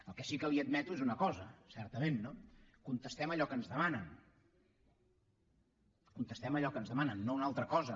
el que sí que li admeto és una cosa certament contestem allò que ens demanen contestem allò que ens demanen no una altra cosa